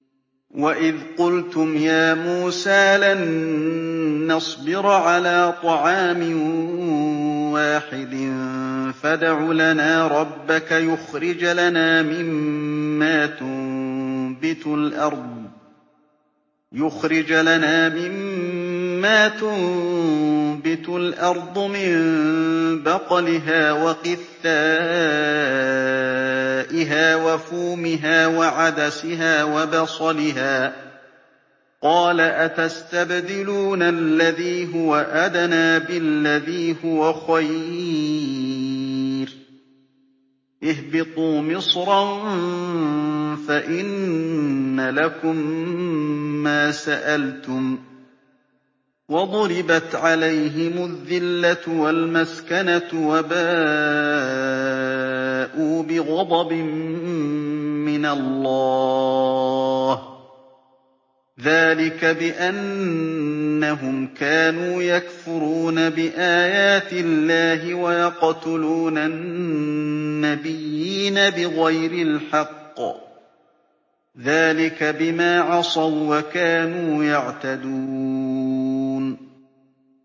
وَإِذْ قُلْتُمْ يَا مُوسَىٰ لَن نَّصْبِرَ عَلَىٰ طَعَامٍ وَاحِدٍ فَادْعُ لَنَا رَبَّكَ يُخْرِجْ لَنَا مِمَّا تُنبِتُ الْأَرْضُ مِن بَقْلِهَا وَقِثَّائِهَا وَفُومِهَا وَعَدَسِهَا وَبَصَلِهَا ۖ قَالَ أَتَسْتَبْدِلُونَ الَّذِي هُوَ أَدْنَىٰ بِالَّذِي هُوَ خَيْرٌ ۚ اهْبِطُوا مِصْرًا فَإِنَّ لَكُم مَّا سَأَلْتُمْ ۗ وَضُرِبَتْ عَلَيْهِمُ الذِّلَّةُ وَالْمَسْكَنَةُ وَبَاءُوا بِغَضَبٍ مِّنَ اللَّهِ ۗ ذَٰلِكَ بِأَنَّهُمْ كَانُوا يَكْفُرُونَ بِآيَاتِ اللَّهِ وَيَقْتُلُونَ النَّبِيِّينَ بِغَيْرِ الْحَقِّ ۗ ذَٰلِكَ بِمَا عَصَوا وَّكَانُوا يَعْتَدُونَ